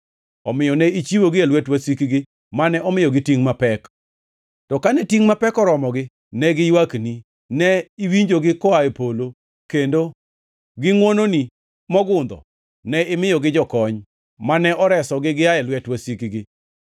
Omiyo ne ichiwogi e lwet wasikgi, mane omiyogi tingʼ mapek. To kane tingʼ mapek oromogi ne giywakni. Ne iwinjogi koa e polo, kendo gi ngʼwononi mogundho ne imiyogi jokony, mane oresogi giaye lwet wasikgi.